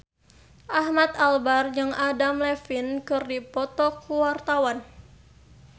Ahmad Albar jeung Adam Levine keur dipoto ku wartawan